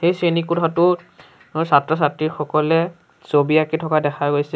এই শ্ৰেণী কোঠাটোত ছাত্ৰ-ছাত্ৰী সকলে ছবি আঁকি থকা দেখা গৈছে।